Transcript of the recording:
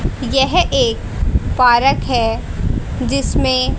यह एक पारक है जिसमें--